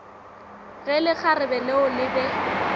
ge lekgarebe leo le be